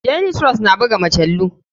Daily trust na buga majalu.